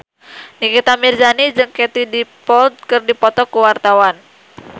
Nikita Mirzani jeung Katie Dippold keur dipoto ku wartawan